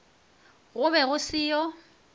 go be go se yo